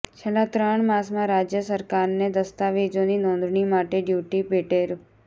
છેલ્લા ત્રણ માસમાં રાજ્ય સરકારને દસ્તાવેજોની નોંધણી માટે ડ્યુટી પેટે રૂ